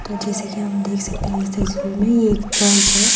जिसके अंदर हम देख सकते हैं में एक चर्च है।